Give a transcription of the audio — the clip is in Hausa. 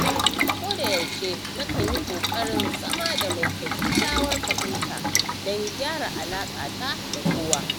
Ko da yaushe na kan yi ƙoƙarin zama mai kyakyawar fahimta don gyara alaƙata da kowa.